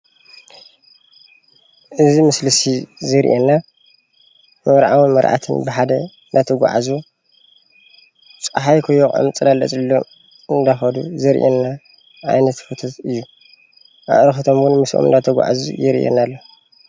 እዚ ምስሊ ዘርእየና መርዓውን መርዓትን ብሓደ እንተጉዓዙ ዘርእየና ዘሎ ሞስሊ እዩ።